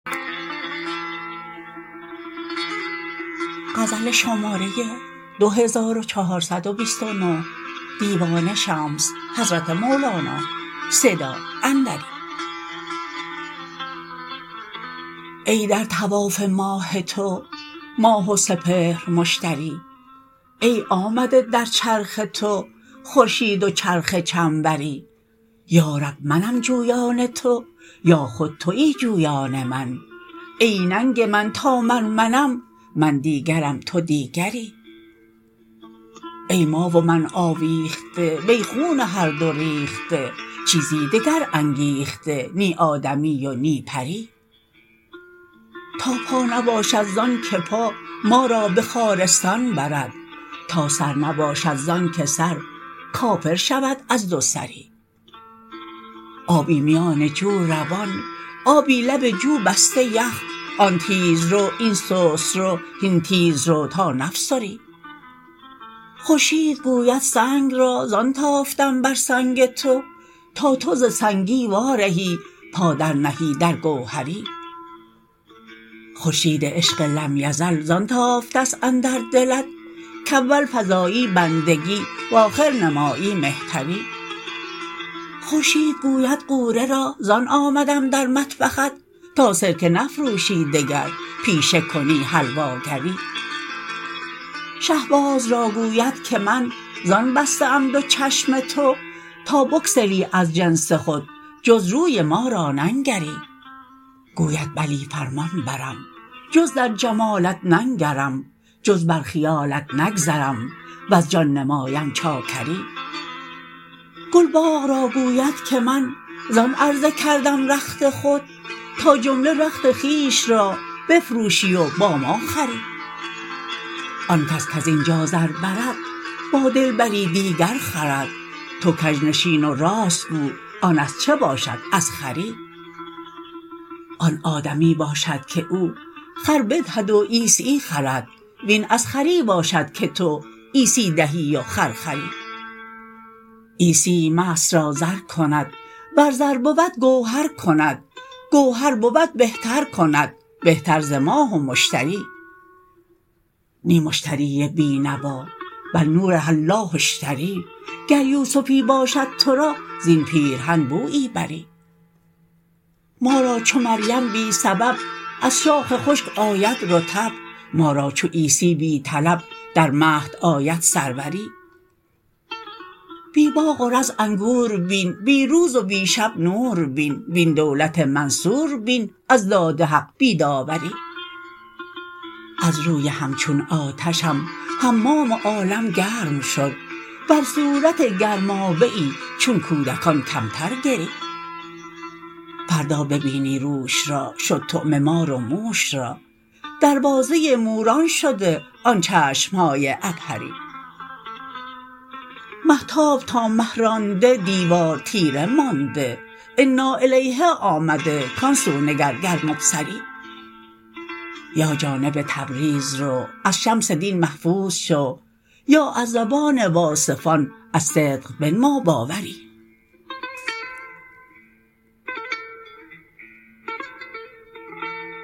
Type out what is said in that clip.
ای در طواف ماه تو ماه و سپهر مشتری ای آمده در چرخ تو خورشید و چرخ چنبری یا رب منم جویان تو یا خود توی جویان من ای ننگ من تا من منم من دیگرم تو دیگری ای ما و من آویخته وی خون هر دو ریخته چیزی دگر انگیخته نی آدمی و نی پری تا پا نباشد ز آنک پا ما را به خارستان برد تا سر نباشد ز آنک سر کافر شود از دوسری آبی میان جو روان آبی لب جو بسته یخ آن تیزرو این سست رو هین تیز رو تا نفسری خورشید گوید سنگ را زان تافتم بر سنگ تو تا تو ز سنگی وارهی پا درنهی در گوهری خورشید عشق لم یزل زان تافته ست اندر دلت کاول فزایی بندگی و آخر نمایی مهتری خورشید گوید غوره را زان آمدم در مطبخت تا سرکه نفروشی دگر پیشه کنی حلواگری شه باز را گوید که من زان بسته ام دو چشم تو تا بگسلی از جنس خود جز روی ما را ننگری گوید بلی فرمان برم جز در جمالت ننگرم جز بر خیالت نگذرم وز جان نمایم چاکری گل باغ را گوید که من زان عرضه کردم رخت خود تا جمله رخت خویش را بفروشی و با ما خوری آن کس کز این جا زر برد با دلبری دیگر خورد تو کژ نشین و راست گو آن از چه باشد از خری آن آدمی باشد که او خر بدهد و عیسی خرد وین از خری باشد که تو عیسی دهی و خر خری عیسی مست را زر کند ور زر بود گوهر کند گوهر بود بهتر کند بهتر ز ماه و مشتری نی مشتری بی نوا بل نور الله اشتری گر یوسفی باشد تو را زین پیرهن بویی بری ما را چو مریم بی سبب از شاخ خشک آید رطب ما را چو عیسی بی طلب در مهد آید سروری بی باغ و رز انگور بین بی روز و بی شب نور بین وین دولت منصور بین از داد حق بی داوری از روی همچون آتشم حمام عالم گرم شد بر صورت گرمابه ای چون کودکان کمتر گری فردا ببینی روش را شد طعمه مار و موش را دروازه موران شده آن چشم های عبهری مهتاب تا مه رانده دیوار تیره مانده اناالیه آمده کان سو نگر گر مبصری یا جانب تبریز رو از شمس دین محظوظ شو یا از زبان واصفان از صدق بنما باوری